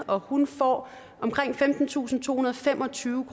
og hun får omkring femtentusinde og tohundrede og femogtyve